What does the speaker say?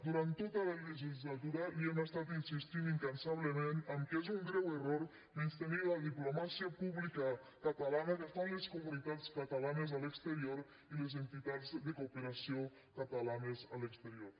durant tota la legislatura li hem estat insistint incansablement que és un greu error menystenir la diplomàcia pública catalana que fan les comunitats catalanes a l’exterior i les entitats de cooperació catalanes a l’exterior